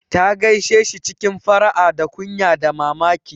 Ta gaishe shi cikin fara'a da kunya da mamaki.